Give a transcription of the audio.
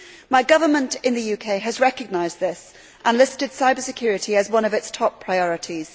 My government in the UK has recognised this and listed cyber security as one of its top priorities.